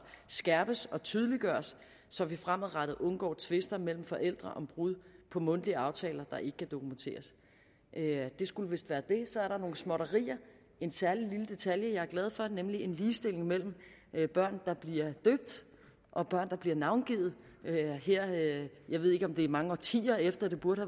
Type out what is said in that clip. skærpes og tydeliggøres så vi fremadrettet undgår tvister mellem forældre om brud på mundtlige aftaler der ikke kan dokumenteres det skulle vist være det så er der nogle småtterier en særlig lille detalje her jeg er glad for nemlig en ligestilling mellem børn der bliver døbt og børn der bliver navngivet jeg ved ikke om det kommer mange årtier efter at det burde